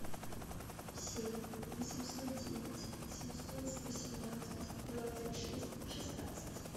семь восемьсот девять семьсот восемнадцать двадцать шесть шестнадцать